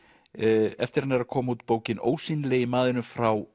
eftir hann er að koma út bókin ósýnilegi maðurinn frá